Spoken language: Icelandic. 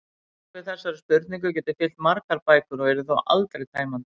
Svarið við þessari spurningu gæti fyllt margar bækur og yrði þó aldrei tæmandi.